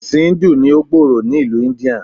Ẹ̀sìn íńdù ní ó gbòòrò ni ìlú Íńdíà.